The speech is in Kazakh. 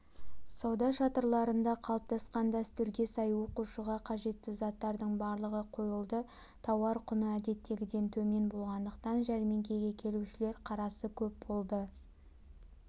сауда шатырларында қалыптасқан дәстүрге сай оқушыға қажетті заттардың барлығы қойылды тауар құны әдеттегіден төмен болғандықтан жәрмеңкеге келушілер қарасы көп болды